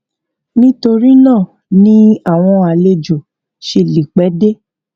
nítorí náà ni àwọn àlejò ṣe lè pẹ dé